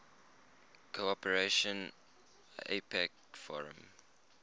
cooperation apec forum